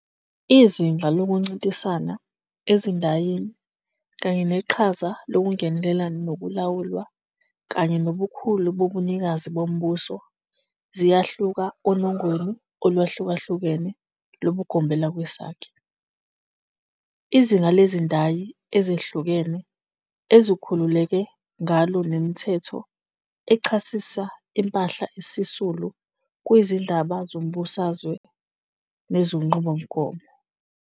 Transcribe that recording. Izinga lokuncintisana ezindayini kanye neqhaza lokungenelela nokulawulwa kanye nobukhulu bobunikazi bombuso ziyahluka onongweni oluhlukahlukene lobugombelakwesakhe. Izinga lezindayi ezihlukene ezikhululeke ngalo nemithetho echasisa impahla esisulu kuyizindaba zombusazwe nezinqubomgomo.